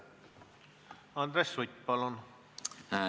Andres Sutt, palun!